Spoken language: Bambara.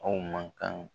Aw man kan